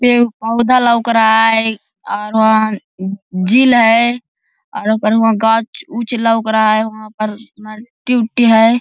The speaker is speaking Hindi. पेड़ पौधा लोक रहा है और वहा झील है आर वहा पर म गाछ उच्च लोक रहा है वहां पर मट्टी ऊटी है।